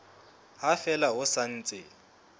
ha fela ho sa ntse